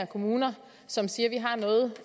kommuner som siger